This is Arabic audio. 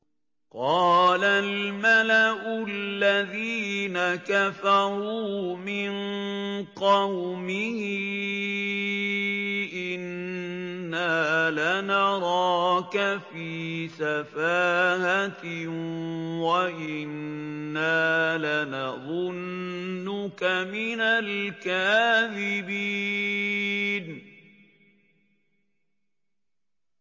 قَالَ الْمَلَأُ الَّذِينَ كَفَرُوا مِن قَوْمِهِ إِنَّا لَنَرَاكَ فِي سَفَاهَةٍ وَإِنَّا لَنَظُنُّكَ مِنَ الْكَاذِبِينَ